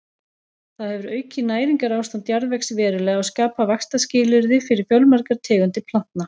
Það hefur aukið næringarástand jarðvegs verulega og skapað vaxtarskilyrði fyrir fjölmargar tegundir plantna.